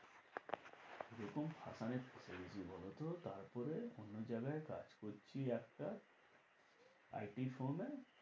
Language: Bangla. তারপরে অন্য জায়গায় কাজ করছি একটা IT form এ